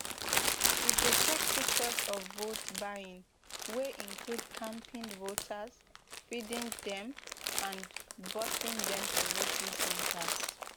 we go take pictures of votebuying wey include camping voters feeding dem and busing dem to voting centres